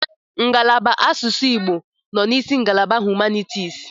Ngalaba asụsụ Igbo nọ n'isi ngalaba humanitis.